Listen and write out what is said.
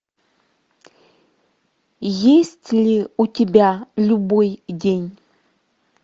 есть ли у тебя любой день